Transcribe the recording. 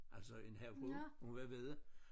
Altså en havfrue hun var vedde